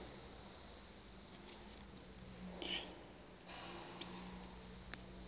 wena uhlel unam